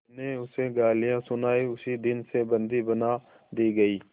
मैंने उसे गालियाँ सुनाई उसी दिन से बंदी बना दी गई